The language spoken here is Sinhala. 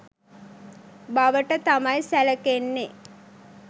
බවට තමයි සැලකෙන්නේ.